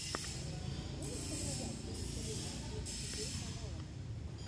можешь показать лучший выпуск бизнес идей по новому